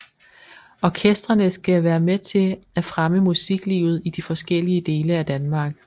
Orkestrene skal være med til at fremme musiklivet i de forskellige dele af Danmark